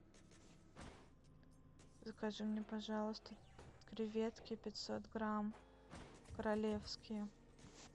закажи мне пожалуйста креветки пятьсот грамм королевские